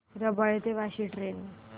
रबाळे ते वाशी ट्रेन